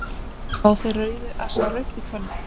Fá þeir rauðu að sjá rautt í kvöld?